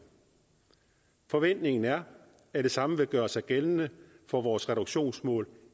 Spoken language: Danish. forventningen er at det samme vil gøre sig gældende for vores reduktionsmål